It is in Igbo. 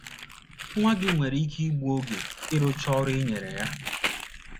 Nwa gị nwere ike igbu oge n’ịrụcha ọrụ i nyere ya.